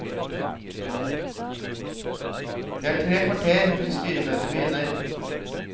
Det er tre kvarter til styremøtet begynner.